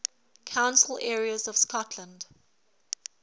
council areas of scotland